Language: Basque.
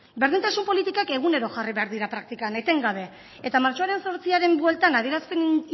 berdintasun politikak egunero jarri behar dira praktikan etengabe eta ez martxoaren zortziaren bueltan adierazpen